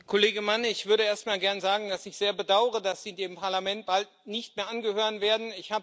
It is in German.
Herr Kollege Mann! Ich würde erst einmal gern sagen, dass ich es sehr bedaure, dass Sie dem Parlament bald nicht mehr angehören werden.